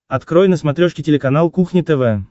открой на смотрешке телеканал кухня тв